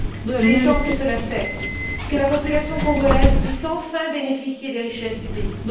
Il est temps que cela cesse, que la population congolaise puisse enfin bénéficier des richesses du pays.